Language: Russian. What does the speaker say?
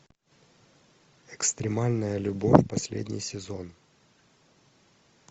экстремальная любовь последний сезон